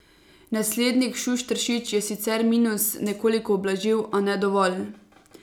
Naslednik Šušteršič je sicer minus nekoliko ublažil, a ne dovolj.